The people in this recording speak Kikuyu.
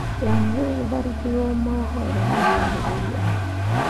Yahoo gũtharĩkĩrwo moohoro ma ahũthĩri aake.